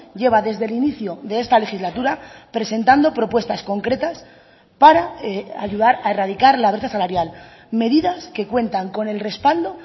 lleva desde el inicio de esta legislatura presentando propuestas concretas para ayudar a erradicar la brecha salarial medidas que cuentan con el respaldo